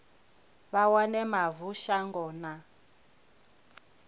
vha wane mavu shango na